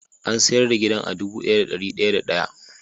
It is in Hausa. An sayar da gidan a dubu daya da dari daya da day.